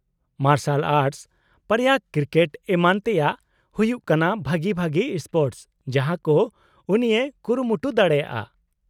-ᱢᱟᱨᱥᱟᱞ ᱟᱨᱴᱥ, ᱯᱟᱭᱨᱟᱜ, ᱠᱨᱤᱠᱮᱴ ᱮᱢᱟᱱ ᱛᱮᱭᱟᱜ ᱦᱩᱭᱩᱜ ᱠᱟᱱᱟ ᱵᱷᱟᱹᱜᱤ ᱵᱷᱟᱹᱜᱤ ᱥᱯᱳᱨᱴᱚᱥ ᱡᱟᱦᱟᱸ ᱠᱚ ᱩᱱᱤᱭ ᱠᱩᱨᱩᱢᱩᱴᱩ ᱫᱟᱲᱮᱭᱟᱜᱼᱟ ᱾